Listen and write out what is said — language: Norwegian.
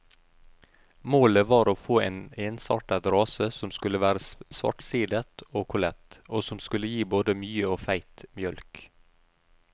Målet var å få til en ensartet rase som skulle være svartsidet og kollet, og som skulle gi både mye og feit mjølk.